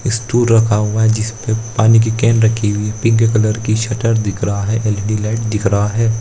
Stool रखा हुआ है जिसपे पानी की केन रखी हुई है पिंक कलर की शटर दिख रहा है एल_इ_डी लाइट दिख रहा है।